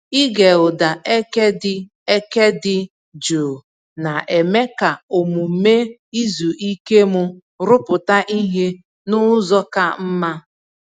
Ịge ụda eke dị eke dị jụụ na-eme ka omume izu ike m rụpụta ihe n'ụzọ ka mma.